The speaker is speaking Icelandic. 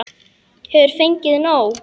Hefur fengið nóg!